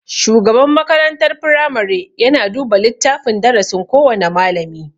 Shugaban makarantar firamare yana duba littafin darasin kowana malami.